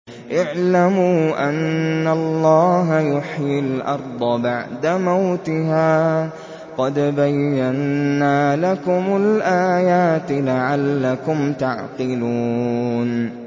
اعْلَمُوا أَنَّ اللَّهَ يُحْيِي الْأَرْضَ بَعْدَ مَوْتِهَا ۚ قَدْ بَيَّنَّا لَكُمُ الْآيَاتِ لَعَلَّكُمْ تَعْقِلُونَ